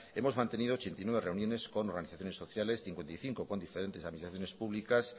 hemos mantenido ochenta y nueve reuniones con organizaciones sociales cincuenta y cinco con diferentes administraciones públicas